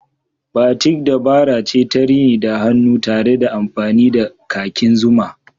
Batik dabara ce ta rini da hannu tare da amfani da kakin zuma.